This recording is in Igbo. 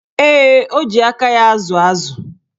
Ee, o ji aka ya ázụ̀ ázụ̀.